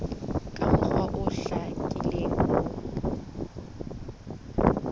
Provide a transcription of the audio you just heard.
ka mokgwa o hlakileng ho